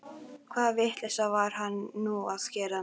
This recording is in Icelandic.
Hvaða vitleysu var hann nú að gera?